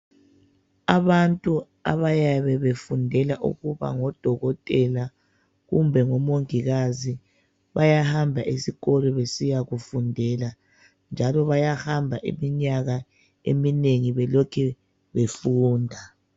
Abantu abayabe befundela ukuba ngo Dokotela kumbe ngo Mongikazi bayahamba esikolo besiyakufundela njalo bayahamba iminyaka eminengi belokhe befunda.